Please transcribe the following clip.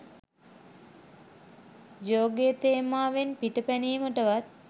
ජෝගේ තේමාවෙන් පිටපැනීමටවත්